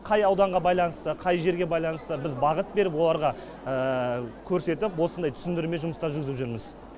қай ауданға байланысты қай жерге байланысты біз бағыт беріп оларға көрсетіп осындай түсіндірме жұмыстар жүргізіп жүрміз